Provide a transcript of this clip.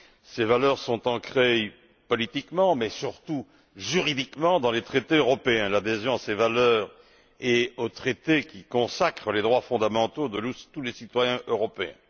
Ces valeurs sont ancrées politiquement, mais, surtout, juridiquement dans les traités européens. Il s'agit d'adhérer à ces valeurs et aux traités qui consacrent les droits fondamentaux de tous les citoyens européens.